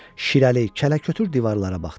Şirəli, kələ-kötür divarlara baxdı.